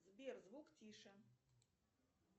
сбер звук тише